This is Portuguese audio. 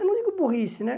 Eu não digo burrice, né?